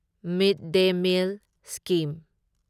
ꯃꯤꯗ day meal scheme